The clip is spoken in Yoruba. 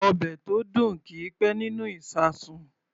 Ọbẹ̀ tó dùn kì í pẹ́ nínú ìṣasùn.